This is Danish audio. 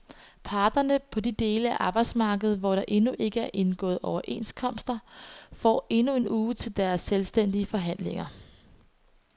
Parterne på de dele af arbejdsmarkedet, hvor der endnu ikke er indgået overenskomster, får endnu en uge til deres selvstændige forhandlinger.